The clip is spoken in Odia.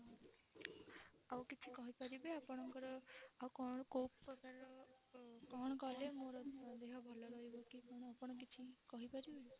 ଆଉ କିଛି କହି ପାରିବେ ଆପଣଙ୍କର ଆଉ କଣ କୋଉ ପ୍ରକାର ର କଣ କଲେ ମୋର ଦେହ ଭଲ ରହିବ କି କଣ ଆପଣ କିଛି କହି ପାରିବେ?